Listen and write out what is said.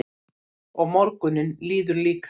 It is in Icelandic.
Og morgunninn líður líka.